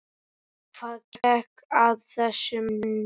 Hvað gekk að þessum mönnum?